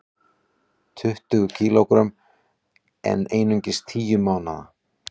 Tuttugu kg en einungis tíu mánaða